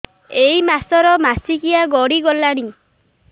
ଏଇ ମାସ ର ମାସିକିଆ ଗଡି ଗଲାଣି